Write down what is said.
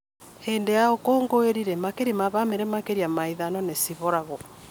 Hĩndĩ ya ũkũngũĩri rĩ, makĩria ma bamĩrĩ makĩria ma ithano nĩ ciboragwo